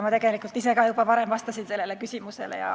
Ma tegelikult ka juba varem vastasin sellele küsimusele.